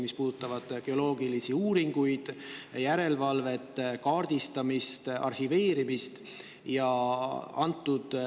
geoloogilisi uuringuid, järelevalvet, kaardistamist, arhiveerimist.